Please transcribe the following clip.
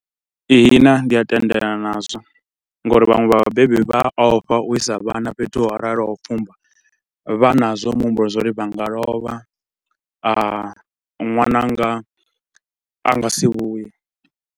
Ihina ndi a tendelana nazwo nga uri vhanwe vha vhabebi vha ofha u isa vhana fhethu ho raloho ha u fumba, vha na zwa muhumbulo zwa uri vha nga lovha a, ṅwananga a nga si vhuye.